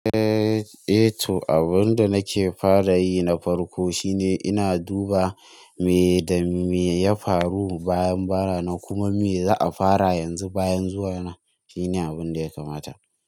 Eh, eh to abun da nake fara yi na farko shine ina duba me da me ya faru bayan bana nan kuma me za a fara yanzu bayan zuwa na. Shine abun da ya kamata.